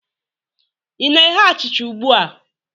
ị na-eghe achịcha ugbu a?